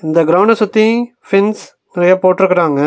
இந்த க்ரவுண்ட சுத்தி ஃபென்ஸ் நறையா போட்டுருக்குறாங்க.